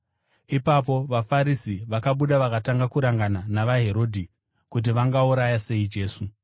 Ipapo vaFarisi vakabuda vakatanga kurangana navaHerodhi kuti vangauraya sei Jesu.